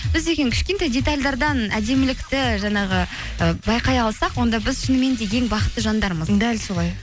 біз деген кішкентай детальдардан әдемілікті жаңағы ы байқай алсақ онда біз шынымен де ең бақытты жандармыз дәл солай